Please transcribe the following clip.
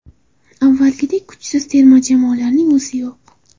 Avvalgidek kuchsiz terma jamoalarning o‘zi yo‘q.